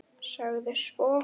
Sagði svo: